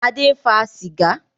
Adé ń fa sìgá